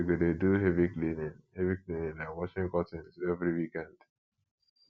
we go dey do heavy cleaning heavy cleaning like washing curtains every weekend